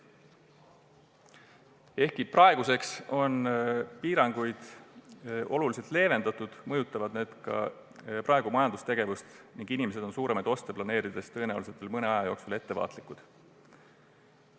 Ehkki praeguseks on piiranguid oluliselt leevendatud, mõjutavad need nüüdki majandustegevust ning inimesed on suuremaid oste planeerides tõenäoliselt veel mõnda aega ettevaatlikud.